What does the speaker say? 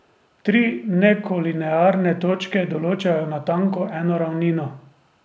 Tri nekolinearne točke določajo natanko eno ravnino.